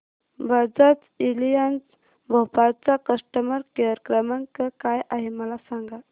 Bajaj Allianz Bhopal चा customer care क्रमांक काय आहे मला सांगा